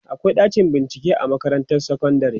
akwai ɗakin bincike a makarantar sekondari